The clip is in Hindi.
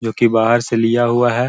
जो की बाहर से लिया हुआ है।